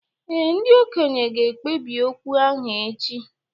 Ee, ndị okenye ga-ekpebi okwu ahụ echi